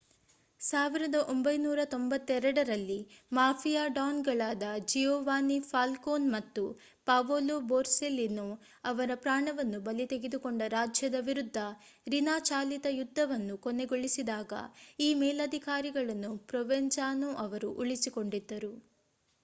1992 ರಲ್ಲಿ ಮಾಫಿಯಾ ಡಾನ್‌ಗಳಾದ Giovanni Falcone ಮತ್ತು ಪಾವೊಲೊ ಬೊರ್ಸೆಲಿನೊ ಅವರ ಪ್ರಾಣವನ್ನು ಬಲಿ ತೆಗೆದುಕೊಂಡ ರಾಜ್ಯದ ವಿರುದ್ಧ ರಿನಾ-ಚಾಲಿತ ಯುದ್ಧವನ್ನು ಕೊನೆಗೊಳಿಸಿದಾಗ ಈ ಮೇಲಧಿಕಾರಿಗಳನ್ನು ಪ್ರೊವೆನ್ಜಾನೊ ಅವರು ಉಳಿಸಿಕೊಂಡಿದ್ದರು.